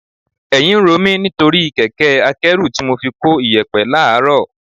Ẹ̀yìn ń ro mi nítorí kẹ̀kẹ́ akẹ́rù tí mo fi ko iyẹ̀pẹ̀ láàrọ̀